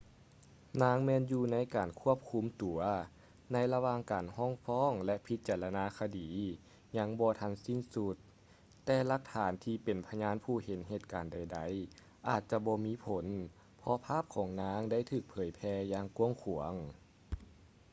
ນາງແມ່ນຢູ່ໃນການຄວບຄຸມຕົວ ໃນລະຫວ່າງການຮ້ອງຟ້ອງ ແລະ ພິຈາລະນາຄະດີຍັງບໍ່ທັນສິ້ນສຸດ ແຕ່ຫຼັກຖານທີ່ເປັນພະຍານຜູ້ເຫັນເຫດການໃດໆ ອາດຈະບໍ່ມີຜົນ ເພາະພາບຂອງນາງໄດ້ຖືກເຜີຍແຜ່ຢ່າງກວ້າງຂວາງ